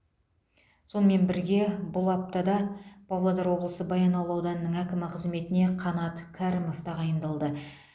сонымен бірге бұл аптада павлодар облысы баянауыл ауданының әкімі қызметіне қанат кәрімов тағайындалды